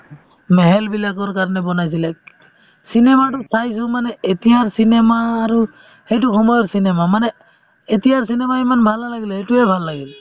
mahal বিলাকৰ কাৰণে বনাইছিলে cinema তো চাইছো মানে এতিয়াৰ cinema আৰু সেইটো সময়ৰ cinema মানে এতিয়াৰ cinema ইমান ভাল নালাগিলে সেইটোয়ে ভাল লাগিল